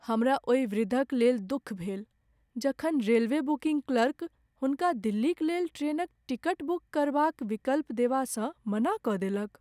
हमरा ओहि वृद्धक लेल दुःख भेल जखन रेलवे बुकिंग क्लर्क हुनका दिल्लीक लेल ट्रेनक टिकट बुक करबाक विकल्प देबासँ मना कऽ देलक।